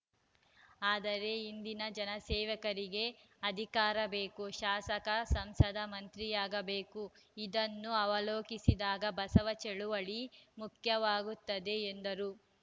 ಆದರೆ ಇಂದಿನ ಜನಸೇವಕರಿಗೆ ಅಧಿಕಾರೕ ಬೇಕು ಶಾಸಕ ಸಂಸದ ಮಂತ್ರಿಯಾಗಬೇಕು ಇದನ್ನು ಅವಲೋಕಿಸಿದಾಗ ಬಸವ ಚಳವಳಿ ಮುಖ್ಯವಾಗುತ್ತದೆ ಎಂದರು